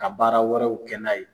Ka baara wɛrɛw kɛ n'a ye.